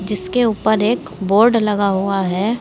इसके ऊपर एक बोर्ड लगा हुआ है।